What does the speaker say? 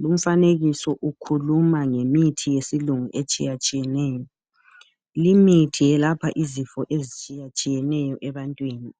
Lumfanekiso ukhuluma ngemithi yesilungu etshiya tshiyeneyo limithi yelapha izifo ezitshiya tshiyeneyo ebantwini